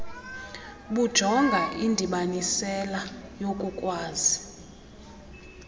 bujonga indibanisela yokukwazi